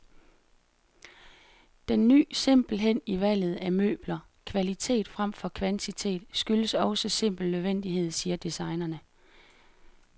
Den ny simpelhed i valget af møbler, kvalitet fremfor kvantitet, skyldes også simpel nødvendighed, siger designerne.